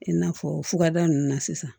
I n'a fɔ fukada nunnu na sisan